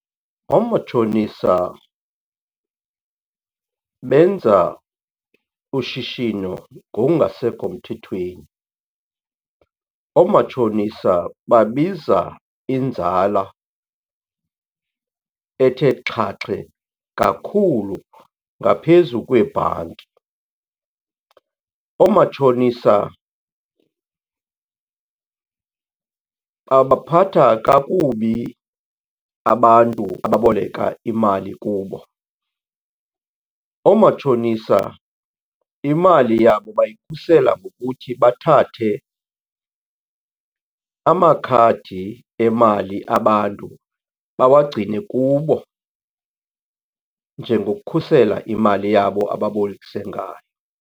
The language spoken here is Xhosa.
Oomatshonisa benza ushishino ngokungasekho mthethweni. Oomatshonisa babiza inzala ethe xhaxhe kakhulu ngaphezu kweebhanki. Oomatshonisa babaphatha kakubi abantu ababoleka imali kubo. Oomatshonisa imali yabo bayikhusela ngokuthi bathathe amakhadi emali abantu, bawagcine kubo njengokhusela imali yabo ababolekise ngayo.